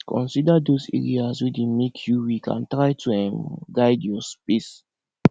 consider those areas wey dey make you weak and try to um guide your space